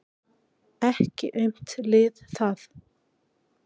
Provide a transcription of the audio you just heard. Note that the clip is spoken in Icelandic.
Ekki aumt lið það.